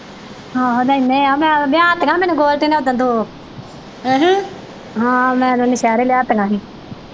ਆਹੋ ਲੈਣੇ ਆ ਮੈ ਲਿਆਤੀਆਂ ਮੈਨੂੰ ਗੋਲਡੀ ਨੇ ਓਦਣ ਦੋ ਹਾਂ ਮੈ ਓਦੋ ਨੌਸ਼ੇਰਿਓ ਲਿਆਤੀਆਂ ਹੀ।